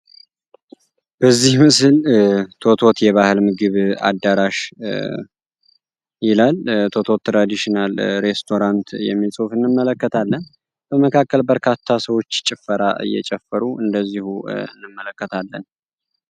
በዚህ ምስል ቶቶት የባህል ምግብ አዳራሽ ይላል። ቶኦቶ ትራዲሽናል ሬስቶራንት የሚል ጹፍ እንመለከታለን በመካከል በርካታ ሰዎች ጭፈራ እየጨመሩ እንደዚሁ እንመለከታለን።